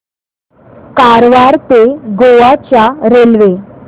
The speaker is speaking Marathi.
कारवार ते गोवा च्या रेल्वे